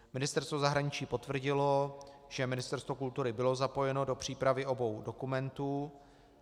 Ministerstvo zahraničí potvrdilo, že Ministerstvo kultury bylo zapojeno do přípravy obou dokumentů.